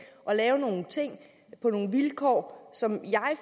lave nogle ting på nogle vilkår som